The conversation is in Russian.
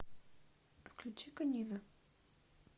включи каниза